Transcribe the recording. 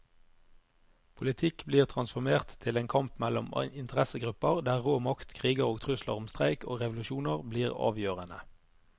Politikk blir transformert til en kamp mellom interessegrupper, der rå makt, kriger og trusler om streik og revolusjoner blir avgjørende.